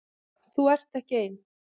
Þú ert ekki ein.